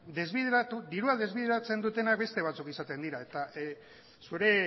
diruak desbideratzen dutenak beste batzuk izaten dira eta zure